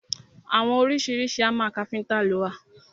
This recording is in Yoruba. Àwọn oríṣiríṣi hámà káfíntà lo wà.